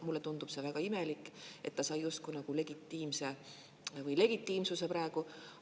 Mulle tundub see väga imelik, et ta sai justkui nagu legitiimse … või legitiimsuse praegu.